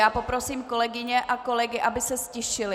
Já poprosím kolegyně a kolegy, aby se ztišili!